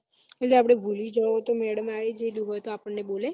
એટલે આપડે ભૂલી જો તો madam આવી ને આપણે બોલે